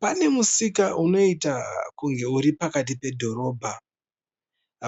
Pane musika unoita kunge uri pakati pedhorobha.